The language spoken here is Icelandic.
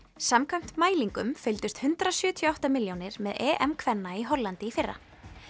samkvæmt mælingum fylgdust hundrað sjötíu og átta milljónir með EM kvenna í Hollandi í fyrra